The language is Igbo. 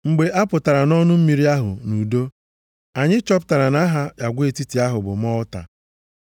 Mgbe a pụtara nʼọnụ mmiri ahụ nʼudo, anyị chọpụtara na aha agwa etiti ahụ bụ Malta.